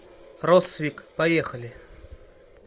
россвик поехали